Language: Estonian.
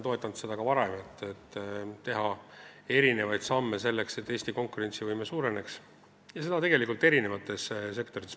Ta on ka varem toetanud erinevaid samme, selleks et Eesti konkurentsivõime suureneks, ja seda tegelikult eri sektorites.